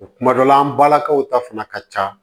Kuma dɔ la an balakaw ta fana ka ca